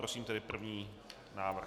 Prosím tedy první návrh.